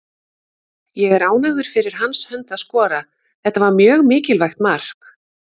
Ég er ánægður fyrir hans hönd að skora, þetta var mjög mikilvægt mark.